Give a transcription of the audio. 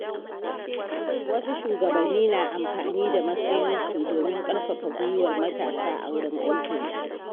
Wasu shugabanni na amfani da matsayinsu domin ƙarfafa guiwar matasa a wurin aikinsu.